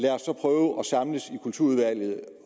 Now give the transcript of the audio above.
kulturudvalget